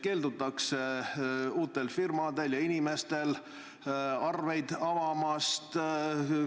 Keeldutakse uutel firmadel ja inimestel arveid avamast.